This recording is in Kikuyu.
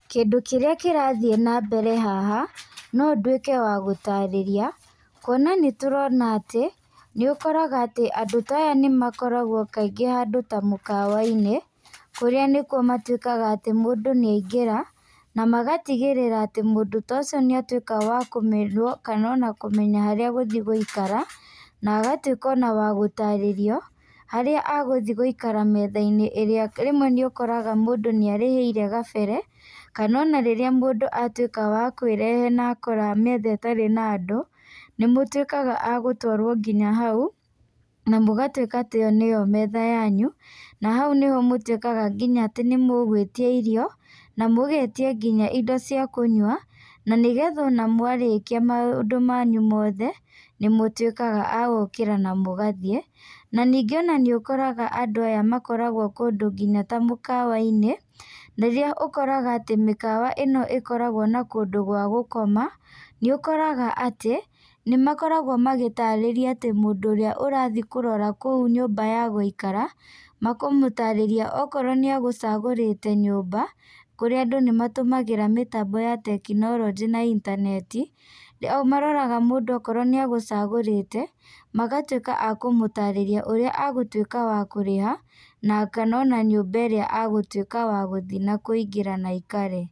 Kĩndũ kĩrĩa kĩrathiĩ na mbere haha, no nduĩke wa gũtarĩria. Kuona nĩ tũrona atĩ, nĩ ũkoraga atĩ andũ ta aya nĩ makoragwo kaingĩ handũ ta mũkawa-inĩ, kũrĩa nĩkuo matuĩkaga atĩ mũndũ nĩ aingĩra. Na magatigĩrĩra atĩ mũndũ ta ũcio nĩ atuĩka wa kana ona kũmenya agũthi gũikara, na agatuĩka ona wa gũtarĩrio, harĩa agũthi gũikara metha-inĩ ĩrĩa rĩmwe nĩ ũkoraga mũndũ nĩ arĩhĩire gabere. Kana ona rĩrĩa mũndũ atuĩka wa kwĩrehe na akora metha ĩtarĩ na andũ, nĩ mũtuĩkaga a gũtwarwo nginya hau, na mũgatuĩka atĩ ĩyo nĩyo metha yanyu. Na hau nĩho mũtuĩkaga nginya atĩ nĩ mũgũĩtia irio, na mũgetia nginya indo cia kũnyua, na nĩgetha ona mwarĩkia maũndũ manyu mothe, nĩ mũtuĩkaga a gũkĩra na mũgathiĩ. Na ningĩ ona nĩ ũkoraga andũ aya makoragwo kũndũ nginya ta mũkawa-inĩ, rĩrĩa ũkoraga atĩ mĩkawa ĩno ĩkoragwo na kũndũ gwa gũkoma, nĩ ũkoraga atĩ, nĩ makoragwo magĩtaarĩria atĩ mũndũ ũrĩa ũrathi kũrora kũu nyũmba ya gũikara, makamũtaarĩria, okorwo nĩ agũcagũrĩte nyũmba, kũrĩa andũ nĩ matũmagĩra mĩtambo ya tekinoronjĩ na intaneti. Maroraga mũndũ okorwo nĩ agũcagũrĩte, magatuĩka a kũmũtarĩria ũrĩa agũtuĩka wa kũrĩha, na kana ona nyũmba ĩrĩa agũtuĩka wa gũthi na kũingĩra na aikare.